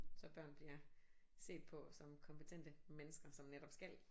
Så børn bliver set på som kompetente mennesker som netop skal